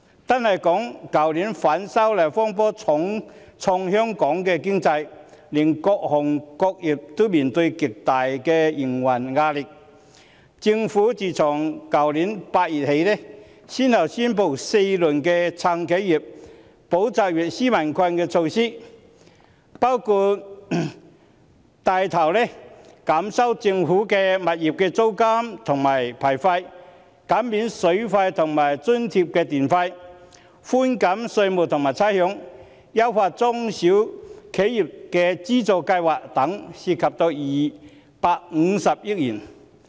單說去年，反修例風波重創香港的經濟，各行各業均面對極大的營運壓力，政府自去年8月起，先後宣布4輪"撐企業、保就業、紓民困"的措施，包括帶頭減收政府物業的租金及牌費；減免水費及津貼電費；寬減稅務及差餉；優化中小企業的資助計劃等，涉款250億元。